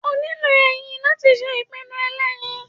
o niló eyín latí sé ipinu elẹyín